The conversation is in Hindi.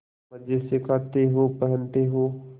मजे से खाते हो पहनते हो